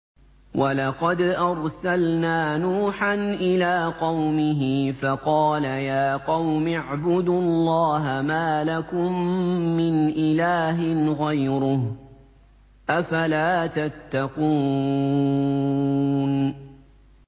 وَلَقَدْ أَرْسَلْنَا نُوحًا إِلَىٰ قَوْمِهِ فَقَالَ يَا قَوْمِ اعْبُدُوا اللَّهَ مَا لَكُم مِّنْ إِلَٰهٍ غَيْرُهُ ۖ أَفَلَا تَتَّقُونَ